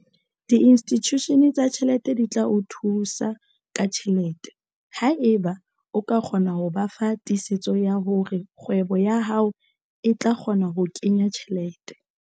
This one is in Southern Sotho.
Diinstitushene tsa ditjhelete di tla o thusa ka tjhelete haeba o ka kgona ho ba fa tiisetso ya hore kgwebo ya hao e tla kgona ho kenya tjhelete.